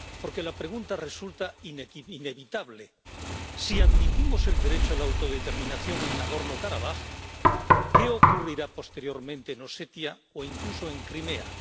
Porque la pregunta resulta inevitable si admitimos el derecho a la autodeterminación en Nagorno Karabaj, ¿qué ocurrirá posteriormente en Osetia o incluso en Crimea?